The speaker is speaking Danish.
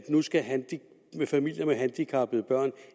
familier med handicappede børn